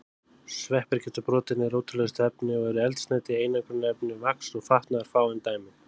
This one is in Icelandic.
Sveppir geta brotið niður ótrúlegustu efni og eru eldsneyti, einangrunarefni, vax og fatnaður fáein dæmi.